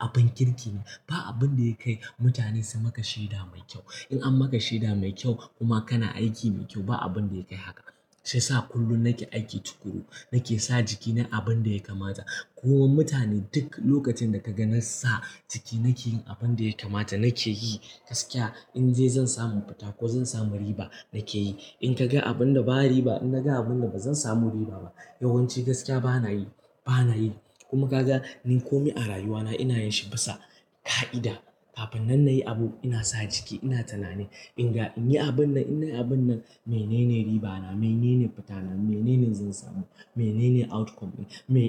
abun kirkine. Ba abinda yakai mutane sumaka shaida mai kyau. In anmaka shaida mai kyau kuma kana aiki mai kyau ba abinda yakai haka. Shiyasa kullum nake aiki tukuru, nake sa jiki nayi abin daya kamata. Kowa mutane duk lokacinda kaga nansa ciki nakeyin abinda yakamata nakeyi gaskiya. In dai zan samu fita ko zan samu riba nake yi. In kaga abinda ba riba, naga abinda bazan samu riba ba, yawanci gaskiya banayi, banayi. Kuma kaga ni komai a rayuwana inayinshi bisa ƙa'ida. Kafin nan nayi abu ina sa jiki ina tunani. Inga inyi abin nan, in nayi abin nan, menene ribana? Menene fitana? Menene zansamu? Menene outcome?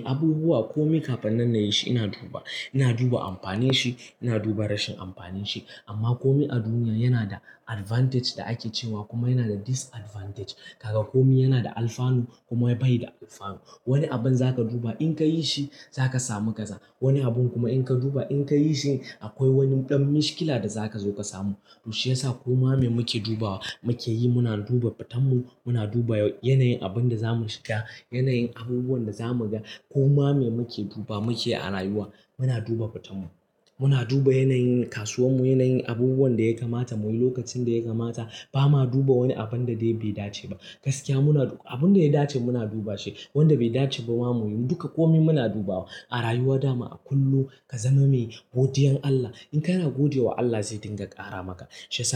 Abubuwa komi kafin nan nayishi ina duba ina duba amfaninshi ina duba rashin amfaninshi. Amma komai a duniya yana da advantage da ake cewa kuma yana da disadvantage. Kaga komai yanada alfanu kuma baida alfanu. Wani abin za ka duba in ka yi shi za ka samu kaza. Wani abun kuma in kaduba in kayishi akwai wani dan mishkila da zaka zo kasamu. To shiyasa koma me muke dubawa mukeyi. Muna duba fitanmu, muna duba yanayin abinda zamu shiga, yanayin abubuwan dazamu ga. Koma me muke duba muke a rayuwa. Muna duba fitanmu muna duba yanayin kasuwanmu yanayin abubuwan daya kamata muyi lokacin daya kamata. Bama duba wani abunda dai bai dace ba. Gaskiya muna abunda yadace muna dubashi. Wanda bai dace bama muyi. Duka komi muna dubawa a rayuwa dama a kullum. Kazama mai godiyan Allah. In kana godewa Allah zai dinga ƙaramaka. Shiyasa.